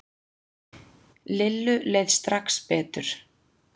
Lillu leið strax betur.